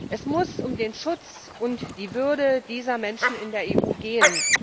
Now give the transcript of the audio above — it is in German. Es muss um den Schutz und die Würde dieser Menschen in der EU gehen.